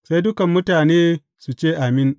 Sai dukan mutane su ce, Amin!